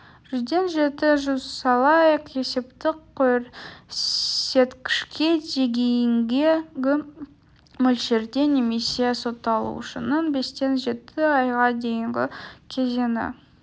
жүзден жеті жүз айлық есептік көрсеткішке дейінгі мөлшерде немесе сотталушының бестен жеті айға дейінгі кезеңі